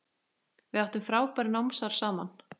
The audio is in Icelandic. Við áttum frábær námsár saman.